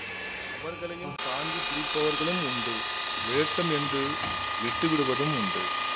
அவர்களையும் தாங்கி பிடிப் பவர்களும் உண்டு விழட்டும் என்று விட்டுவிடுவதும் உண்டு